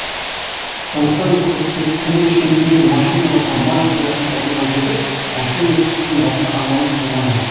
сондықтан көкпектінің шетіндегі машиналарға май құятын орынға жетіп машина күтуден басқа амалым қалмады